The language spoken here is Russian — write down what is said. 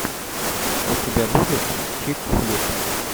у тебя будет чик флик